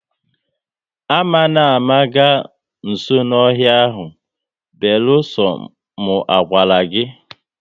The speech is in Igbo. Ama na ama ga nso n'ọhịa ahụ, beluso mu a gwara gị ga!